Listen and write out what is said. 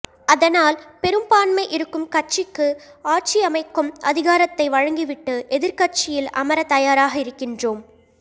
அதனால் பெரும்பான்மை இருக்கும் கட்சிக்கு ஆட்சியமைக்கும் அதிகாரத்தை வழங்கிவிட்டு எதிர்க்கட்சியில் அமர தயாராக இருக்கின்றோம்